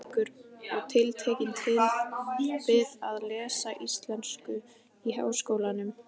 Reykjavíkur og tekin til við að lesa íslensku í Háskólanum.